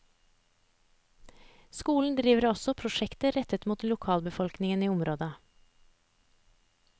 Skolen driver også prosjekter rettet mot lokalbefolkningen i området.